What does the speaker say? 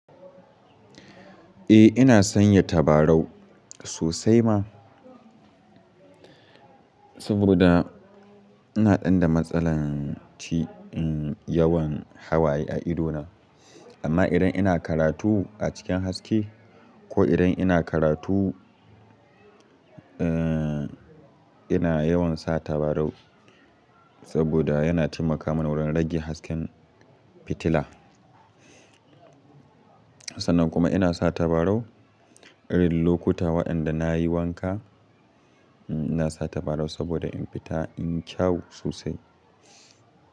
Eh ina sanya tabarau sosai ma. Saboda ina ɗanda matsalan yawan hawaye a ido na. Amma idan ina karatu a cikin haske ko idan ina karatu, eh ina yawan sa tabarau saboda yana taimaka min wurin rage hasken fitila. Sannan kuma ina sa tabarau irin lokuta waɗanda na yi wanka. Ina sa tabarau saboda in fita in kyau sosai.